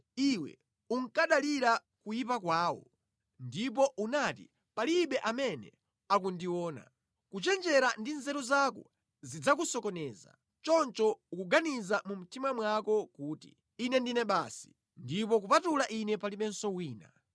Iwe unkadalira kuyipa kwako ndipo unati, ‘Palibe amene akundiona.’ Kuchenjera ndi nzeru zako zidzakusokoneza, choncho ukuganiza mu mtima mwako kuti, ‘Ine ndine basi, ndipo kupatula ine palibenso wina.’